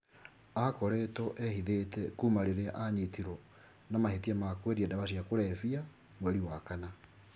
Aakoretwo ehithĩte kuuma rĩrĩa aanyitirũo na mahĩtia ma kwendia ndawa cia kũrebia mweri wa kana.